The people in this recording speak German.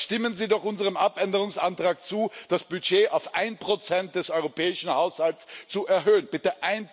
Dann stimmen Sie doch unserem Abänderungsantrag zu, das Budget auf 1 des europäischen Haushalts zu erhöhen bitte,